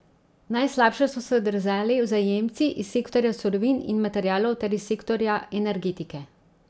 Najslabše so se odrezali vzajemci iz sektorja surovin in materialov ter iz sektorja energetike.